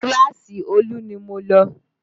Kíláàsì Olú ni mo lọ